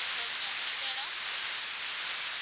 Sophia எந்த எடம்